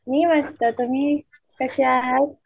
मी मस्त तुमि कशा आहेत?